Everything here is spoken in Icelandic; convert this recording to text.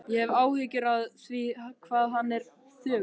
Ég hef áhyggjur af því hvað hann er þögull.